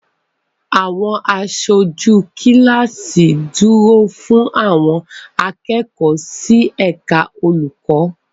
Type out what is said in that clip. Àwọn aṣojú kíláàsì dúró fún àwọn akẹ́kọ̀ọ́ sí ẹ̀ka olùkọ́.